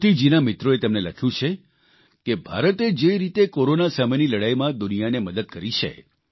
કિર્તીજીના મિત્રોએ તેમને લખ્યું છે કે ભારતે જે રીતે કોરોના સામેની લડાઇમાં દુનિયાને મદદ કરી છે